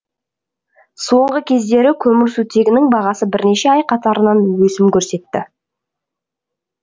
соңғы кездері көмірсутегінің бағасы бірнеше ай қатарынан өсім көрсетті